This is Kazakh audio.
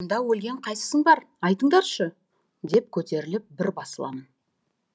сонда өлген қайсысың бар айтыңдаршы деп көтеріліп бір басыламын